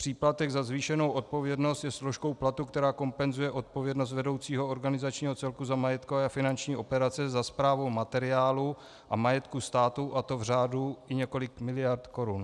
Příplatek za zvýšenou odpovědnost je složkou platu, která kompenzuje odpovědnost vedoucího organizačního celku za majetkové a finanční operace, za správu materiálu a majetku státu, a to v řádu i několika miliard korun.